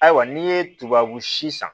Ayiwa n'i ye tubabu si san